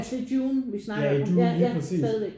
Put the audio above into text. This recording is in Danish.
Altså i Dune? Vi snakker om ja ja stadigvæk